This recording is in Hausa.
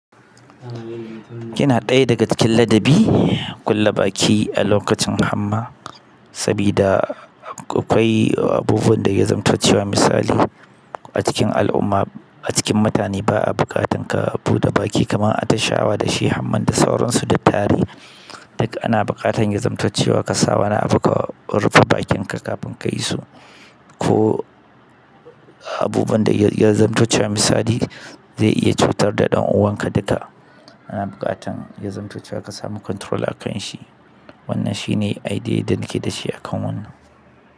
Yana ɗaya daga cikin ladabi, kulle baki a lokacin hamma sabida akwai sanda ya zamto cewa misali a cikin al'umma a cikin mutane ba a buƙatan ka buɗe baki kamar atishawa da shi hamma da sauransu da tarihi. Duk ana buƙatar ya zamti cewa kasa wani abu ka rufe bakin ka kafin su ko abubuwan da ya zamtaccewa misali zai iya cutar da ɗan uwanka duka ana buƙatan ya zamtaccewa ka samu control a kan shi. Wannan shine idea da nake da shi a kan wannan.